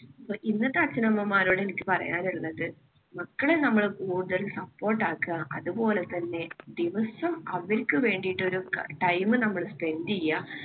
ഇന്നത്തെ അച്ഛനമ്മമാരോട് എനിക്ക് പറയാനുള്ളത് മക്കളെ നമ്മള് കൂടുതൽ support ആക്കുക. അതുപോലെ തന്നെ ദിവസം അവർക്ക് വേണ്ടിയിട്ട് ഒരു time നമ്മള് spend ചെയ്യുക.